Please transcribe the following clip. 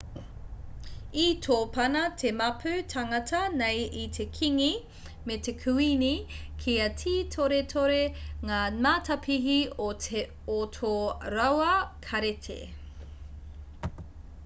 i tōpana te māpu tāngata nei i te kīngi me te kuīni kia tītoretore ngā matapihi o tō rāua kāreti